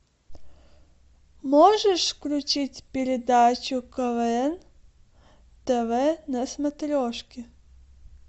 можешь включить передачу квн тв на смотрешке